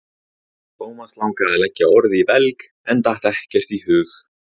Thomas langaði að leggja orð í belg en datt ekkert í hug.